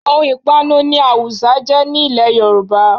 Ohun ìpanu ni awùsá jẹ́ ní ilẹ̀ Yorùbá